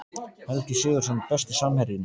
Helgi Sigurðsson Besti samherjinn?